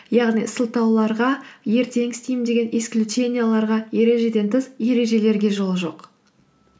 яғни сылтауларға ертең істеймін деген исключенияларға ережеден тыс ережелерге жол жоқ